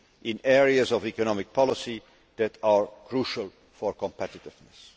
in areas of economic policy that are crucial for competitiveness.